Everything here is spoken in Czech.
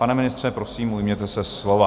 Pane ministře, prosím, ujměte se slova.